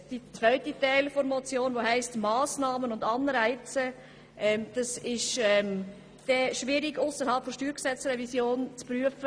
Der zweite Teil der Motion, bei dem von «Anreizen und Massnahmen» gesprochen wird, ist schwierig ausserhalb der Steuergesetzrevision zu prüfen.